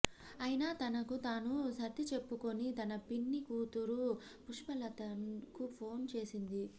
అయినా తనకు తాను సర్దిచెప్పుకుని తన పిన్ని కూతురు పుష్పలతకు ఫోను చేసింది